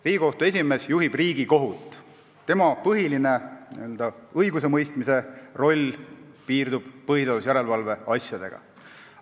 Riigikohtu esimees juhib Riigikohut, tema põhiline õigusemõistmise roll piirdub põhiseaduse järelevalve asjadega.